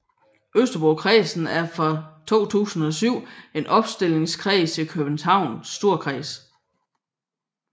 Østerbrokredsen er fra 2007 en opstillingskreds i Københavns Storkreds